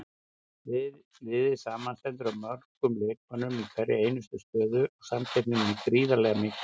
Liðið samanstendur af mögnuðum leikmönnum í hverri einustu stöðu og samkeppnin er gríðarlega mikil.